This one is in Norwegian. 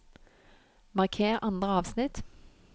Marker andre avsnitt